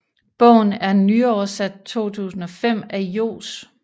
Bogen er nyoversat 2005 af Johs